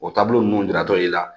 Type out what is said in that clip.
O taabolo ninnu jiratɔ i la